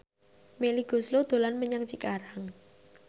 Melly Goeslaw dolan menyang Cikarang